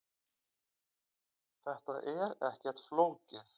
Þetta er ekkert flókið